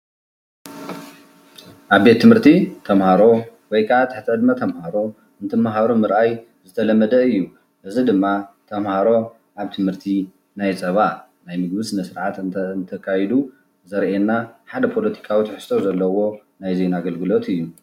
ኣብ ቤት ትምህርቲ ተመሃሮ ወይ ከዓ ትሕቲ ዕድመ ተመሃሮ እንትመሃሩ ምርኣይ ዝተለመደ እዩ ። እዚ ድማ ተመሃሮ ኣብ ትምህርቲ ናይ ፀባ ናይ ምግቢ ስነ ስርዓት እንተ እንተካይድ ዘርእየና ሓደ ፖለቲካዊ ትሕዝቶ ዘለዎ ናይ ዜና ኣገልግሎት እዩ።